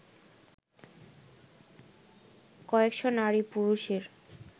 কয়েকশো নারী পুরষের